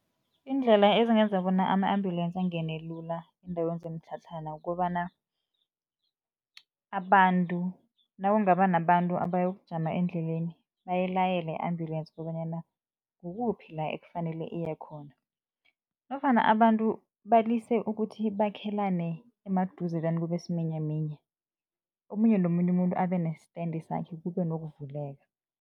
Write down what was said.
Iindlela ezingenza bona ama-ambulance angene lula eendaweni zemitlhatlhana kukobana, nakungaba nabantu abayokujama endleleni bayilayele i-ambulensi kobanyana kukuphi la ekufanele iye khona nofana abantu balise ukuthi bakhelane emaduzelana kube siminyaminya, omunye nomunye umuntu abenestandi sakhe kube nokuvuleka.